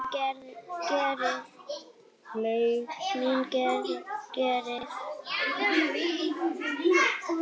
Leið mín greið.